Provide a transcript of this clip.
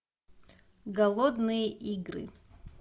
голодные игры